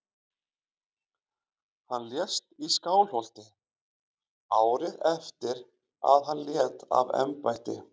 Hann lést í Skálholti árið eftir að hann lét af embætti.